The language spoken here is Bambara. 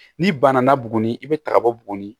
N'i banana buguni i bɛ taga bɔ buguni